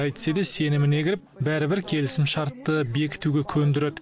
әйтсе де сеніміне кіріп бәрібір келісімшартты бекітуге көндіреді